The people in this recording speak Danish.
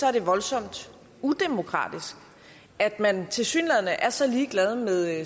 er det voldsomt udemokratisk at man tilsyneladende er så ligeglad med